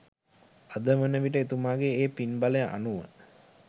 අද වන විට එතුමාගේ ඒ පින්බලය අනුව